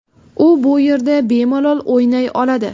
U bu yerda bemalol o‘ynay oladi.